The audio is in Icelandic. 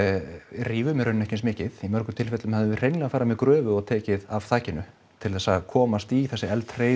rífum í raun ekki eins mikið í mörgum tilfellum hefðum við hreinlega farið með gröfu og tekið af þakinu til þess að komast í þessi